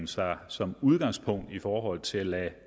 sig som udgangspunkt i forhold til at lade